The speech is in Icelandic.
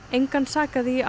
engan sakaði í